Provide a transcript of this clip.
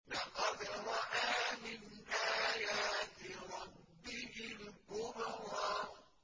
لَقَدْ رَأَىٰ مِنْ آيَاتِ رَبِّهِ الْكُبْرَىٰ